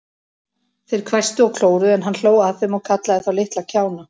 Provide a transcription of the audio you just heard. Þeir hvæstu og klóruðu, en hann hló að þeim og kallaði þá litla kjána.